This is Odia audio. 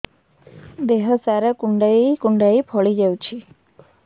ଦେହ ସାରା କୁଣ୍ଡାଇ କୁଣ୍ଡାଇ ଫଳି ଯାଉଛି